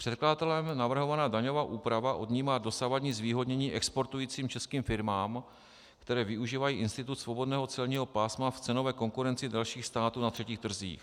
Předkladatelem navrhovaná daňová úprava odnímá dosavadní zvýhodnění exportujícím českým firmám, které využívají institut svobodného celního pásma v cenové konkurenci dalších států na třetích trzích.